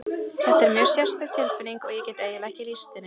Þetta er mjög sérstök tilfinning og ég get eiginlega ekki lýst henni.